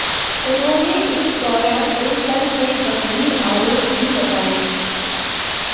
उन्होंने इस दौरान उन पर कई गंभीर आरोप भी लगाए